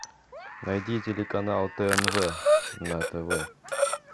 найди телеканал тнв на тв